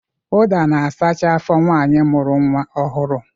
Uda na-asacha afọ nwaanyi mụrụ nnwa ọhụrụ